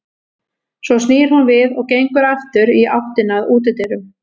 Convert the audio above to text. Svo snýr hún við og gengur aftur í áttina að útidyrum.